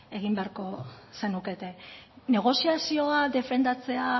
egin beharko zenukete negoziazioa defendatzea